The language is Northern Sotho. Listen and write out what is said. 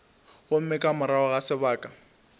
gomme ka morago ga sebaka